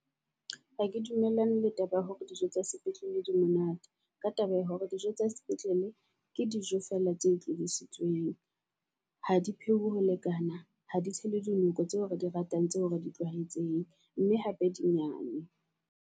Ha ke dumellane le taba ya hore dijo tsa sepetlele di monate ka taba ya hore dijo tsa sepetlele ke dijo fela tse tlositsweng. Ha di pheuwe ho lekana, ha di tshele di noko tseo re di ratang, tseo re di tlwaetseng mme hape di nyane.